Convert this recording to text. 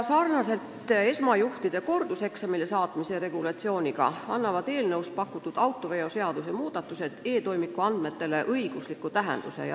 Sarnaselt esmase juhiloaga juhtide korduseksamile saatmise regulatsiooniga annavad eelnõus pakutud autoveoseaduse muudatused e-toimiku andmetele õigusliku tähenduse.